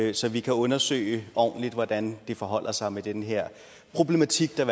det så vi kan undersøge ordentligt hvordan det forholder sig med den her problematik der